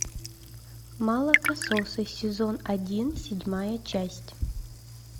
молокососы сезон один седьмая часть